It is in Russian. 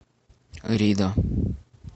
ридо